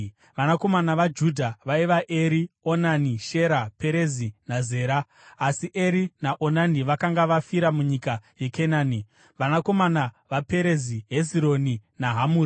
Vanakomana vaJudha vaiva: Eri, Onani, Shera, Perezi naZera (asi Eri naOnani vakanga vafira munyika yeKenani). Vanakomana vaPerezi: Hezironi naHamuri.